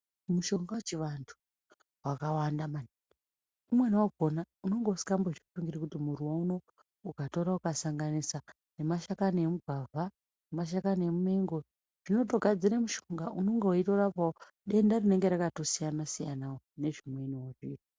Mushonga yechiantu wakawanda maningi. Umweni wakhona unonga usingambozvifungiri kuti muruwa uno ukatora ukasanganisa nemashakani emugwavha, nemashakani emumengo zvinotogadzir mushonga unonga weitorapawo denda rinonga rakatosiyana siyanawo nzvimweniwo